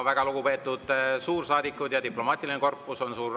Väga lugupeetud suursaadikud ja diplomaatiline korpus!